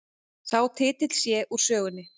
Sá titill sé úr sögunni